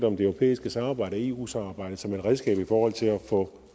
om det europæiske samarbejde og eu samarbejdet som et redskab i forhold til at få